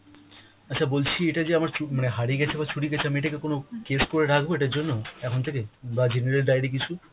আচ্ছা বলছি এটা যে আমার মানে হারিয়ে গেছে বা চুরি গেছে আমি এটাকে কোন case করে রাখবো এটার জন্য এখন থেকেই? বা general diary কিছু !